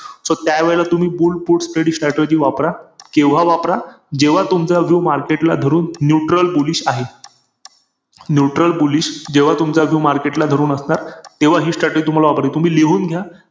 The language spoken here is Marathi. JIO सिनेमा वरती कोणत्याही sim card user ला तुम्हा free बघता फ्री बघता येणार आहे.